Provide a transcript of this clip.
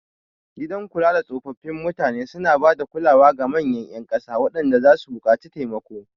Gidan kulada tsofaffin mutane suna ba da kulawar ga manyan ƴan ƙasa waɗanda zasu buƙaci taimako.